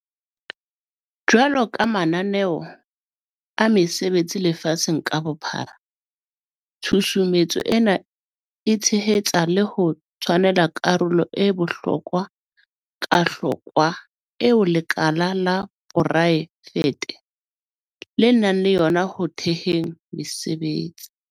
Jwalo ka mananeo a mesebetsi lefatsheng ka bophara, tshusumetso ena e tshehetsa le ho tshwanela karolo e bohlo kwahlokwa eo lekala la porae fete le nang le yona ho theheng mesebetsi.